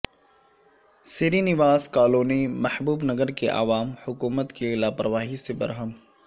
Srinivas colony Mahbubnagar کے عوام حکومت کی لاپرواہی سے برہم